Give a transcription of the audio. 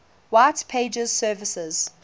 white pages services